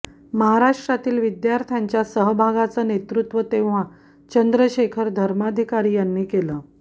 महाराष्ट्रातील विद्यार्थ्यांच्या सहभागाचं नेतृत्व तेव्हा चंद्रशेखर धर्माधिकारी यांनी केलं